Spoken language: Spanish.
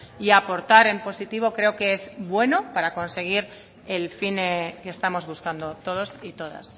y aportar en positivo creo que es bueno para conseguir el fin que estamos buscando todos y todas